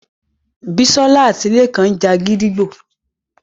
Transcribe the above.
Bisola àti Lekan ńja gídígbò